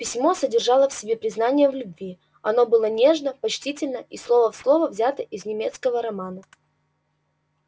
письмо содержало в себе признание в любви оно было нежно почтительно и слово в слово взято из немецкого романа